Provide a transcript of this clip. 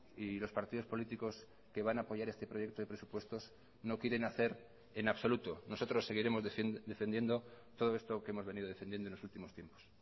y los partidos políticos que van a apoyar este proyecto de presupuestos no quieren hacer en absoluto nosotros seguiremos defendiendo todo esto que hemos venido defendiendo en los últimos tiempos